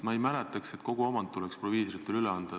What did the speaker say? Ma ei mäleta, et kogu omand tuleb proviisoritele üle anda.